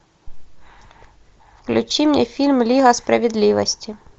включи мне фильм лига справедливости